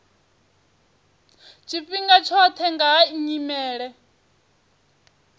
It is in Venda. tshifhinga tshoṱhe nga ha nyimele